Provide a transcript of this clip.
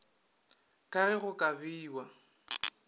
ka ge go ka bewa